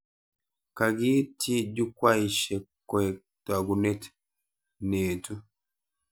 Kakitsyi Jukwaishek koek togunet neetu